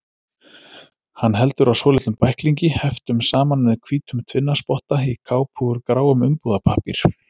Hann heldur á svolitlum bæklingi, heftum saman með hvítum tvinnaspotta, í kápu úr gráum umbúðapappír.